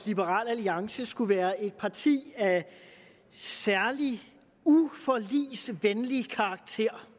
liberal alliance skulle være et parti af særlig uvenlig karakter